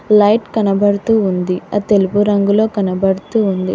Light కనబడుతూ ఉంది ఆ తెలుపు రంగులో కనబడుతుంది.